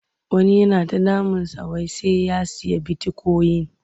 Wani yana ta damunsa wai sai ya sayi bitikoyin.